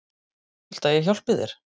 Viltu að ég hjálpi þér?